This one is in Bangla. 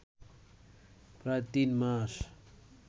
প্রায় তিন মাস